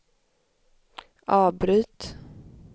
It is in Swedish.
avbryt